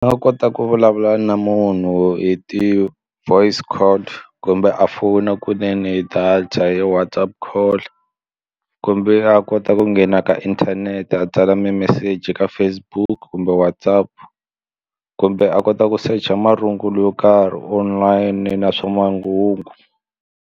Ni nga kota ku vulavula na munhu hi ti-voice call kumbe a fowuna kunene hi data hi Whatsapp call kumbe a kota ku nghena ka inthanete a tsala mimeseji ka Facebook kumbe Whatsapp kumbe a kota ku secha marungulo yo karhi online na swa manghuva.